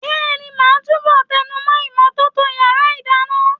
Bẹ́ẹ̀ni, màá túbọ̀ tẹnumọ́ ìmọ́tótó yàrá ìdáná.